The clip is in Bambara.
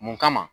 Mun kama